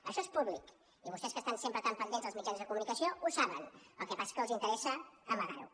això és públic i vostès que estan sempre tan pendents dels mitjans de comunicació ho saben el que passa és que els interessa amagar ho